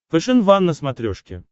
фэшен ван на смотрешке